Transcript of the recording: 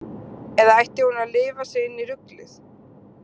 Eða ætti hún að lifa sig inn í ruglið?